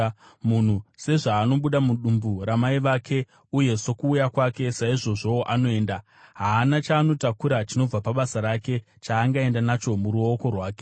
Munhu sezvaanobuda mudumbu ramai vake, uye sokuuya kwake, saizvozvowo anoenda. Haana chaanotakura chinobva pabasa rake, chaangaenda nacho muruoko rwake.